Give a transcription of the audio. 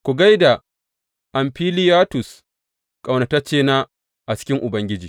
Ku gai da Amfiliyatus, ƙaunataccena a cikin Ubangiji.